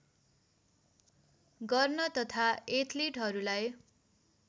गर्न तथा एथलिटहरूलाई